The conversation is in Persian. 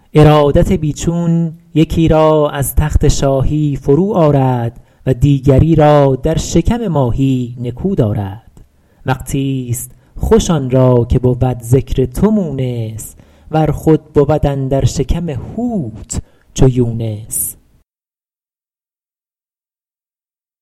ارادت بی چون یکی را از تخت شاهی فرو آرد و دیگری را در شکم ماهی نکو دارد وقتیست خوش آن را که بود ذکر تو مونس ور خود بود اندر شکم حوت چو یونس